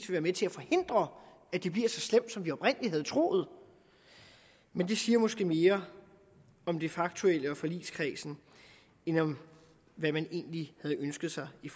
være med til at forhindre at det bliver så slemt som vi oprindelig havde troet men det siger måske mere om det faktuelle og forligskredsen end om hvad man egentlig havde ønsket sig i